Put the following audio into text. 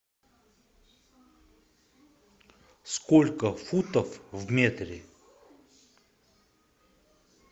сколько футов в метре